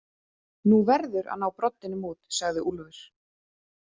Þú verður að ná broddinum út, sagði Úlfur.